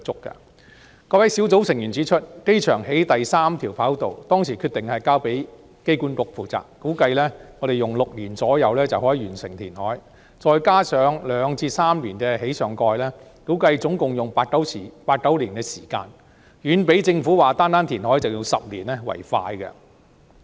該位專責小組成員指出，機場興建第三條跑道時決定交由香港機場管理局負責，估計用約6年時間就可以完成填海，再加上2至3年興建上蓋，估計共花八九年時間，遠較政府說單單填海就要10年為快。